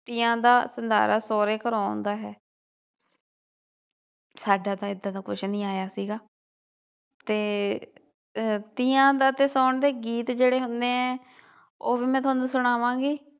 ਤੀਆਂ ਦਾ ਸੰਧਾਰਾ ਸੋਹਰੇ ਘਰੋਂ ਆਉਂਦਾ ਹੈ ਹਾਡਾ ਤਾ ਇਹਦਾ ਕੁਝ ਨਹੀਂ ਆਇਆ ਸੀ ਗਾ ਤੇ ਅਹ ਤੀਆਂ ਦਾ ਤੇ ਸਾਉਣ ਦੇ ਗੀਤ ਜਿਹੜੇ ਹੁੰਦੇ ਏ ਓਵੀ ਮੈ ਤੁਹਾਨੂੰ ਸੁਨਾਵਾਂਗੀ।